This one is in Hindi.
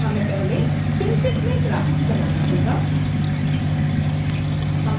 हमें पहले synfig में ग्राफिक्स बनाना होगा